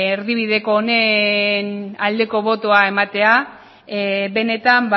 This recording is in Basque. erdibideko honen aldeko botoa ematea benetan